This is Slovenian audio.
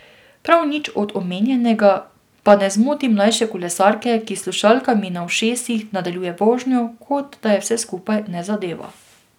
Prav nič od omenjenega pa ne zmoti mlajše kolesarke, ki s slušalkami na ušesih nadaljuje vožnjo, kot da je vse skupaj ne zadeva.